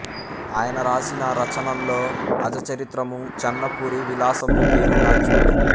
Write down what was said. ఆయన రాసిన రచనల్లో అజ చరిత్రము చెన్నపురీ విలాసము పేరు గాంచినవి